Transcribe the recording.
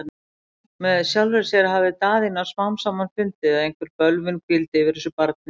Með sjálfri sér hafði Daðína smám saman fundið, að einhver bölvun hvíldi yfir þessu barni.